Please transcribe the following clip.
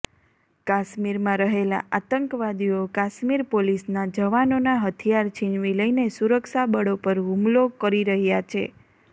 કાશ્મીરમાં રહેલા આતંકવાદીઓ કાશ્મીર પોલીસના જવાનોના હથિયાર છીનવી લઈને સુરક્ષાબળો પર હુમલો કરી રહ્યા છે